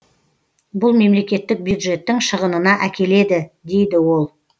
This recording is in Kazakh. бұл мемлекеттік бюджеттің шығынына әкеледі дейді ол